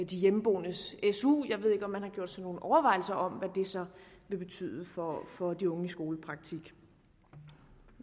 de hjemmeboendes su jeg ved ikke om man har gjort sig nogle overvejelser om hvad det så vil betyde for de unge i skolepraktik